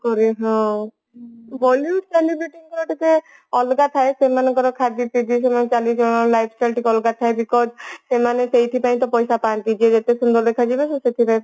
କରେ ହଁ Bollywood celebrate ଙ୍କର ଟିକେ ଅଲଗା ଥାଏ ସେମାନଙ୍କର ଖାଦ୍ଯ ସେମାନଙ୍କର ଚାଲିଚଳନ lifestyle ଟିକେ ଅଲଗା ଥାଏ because ସେମାନେ ସେଇଥି ପାଇଁ ତ ପଇସା ପାନ୍ତି ଯିଏ ଯେତେ ସୁନ୍ଦର ଦେଖାଯିବେ ସେ ସେତେ